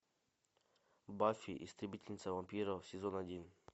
баффи истребительница вампиров сезон один